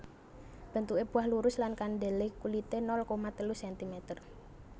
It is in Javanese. Bentuke buah lurus lan kandele kulite nol koma telu sentimeter